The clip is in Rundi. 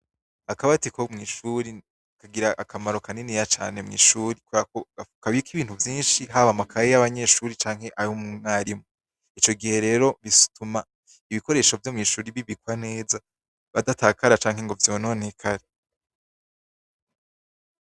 Akabati ko mwishure kagira akamaro kaniniya cane mwishure kuberako kabika ibintu vyinshi haba amakaye yabanyeshure canke ayumwarimu icogihe rero bituma ibikoresho vyomwishure bibikwa neza bidatakare canke ngo vyononekare